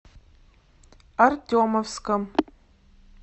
артемовском